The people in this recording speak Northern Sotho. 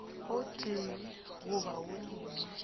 o tee goba wo mongwe